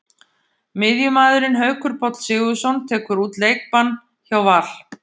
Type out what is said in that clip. Miðjumaðurinn Haukur Páll Sigurðsson tekur út leikbann hjá Val.